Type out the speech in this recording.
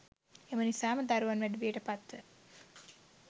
එම නිසාම දරුවන් වැඩිවියට පත්ව